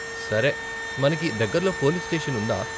సరే, మనకి దగ్గరలో పోలీస్ స్టేషన్ ఉందా ?